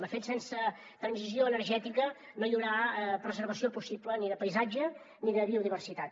de fet sense transició energètica no hi haurà preservació possible ni de paisatge ni de biodiversitat